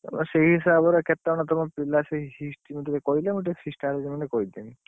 ତେବେ ସେଇ ହିସାବରେ, କେତେ ଜଣ ତମ ପିଲା ସେଇ feast ମୁଁ ସେଇ feast ଆୟୋଜନ ଗୋଟେ କରିଦେମି?